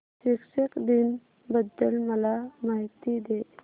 शिक्षक दिन बद्दल मला माहिती दे